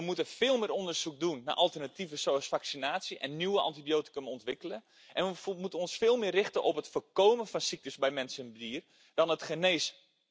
We moeten veel meer onderzoek doen naar alternatieven zoals vaccinatie en nieuwe antibiotica ontwikkelen en we moeten ons veel meer richten op het voorkomen van ziekten bij mens en dier dan genezen.